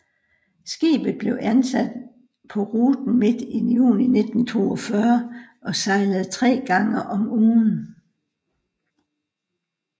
Skibet blev indsat på ruten midt i juni 1942 og sejlede tre gange om ugen